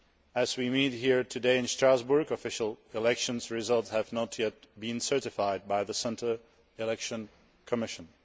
As we meet here today in Strasbourg, official election results have not yet been certified by the Central Election Commission.